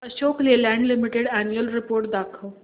Ashok Leyland limited annual report दाखव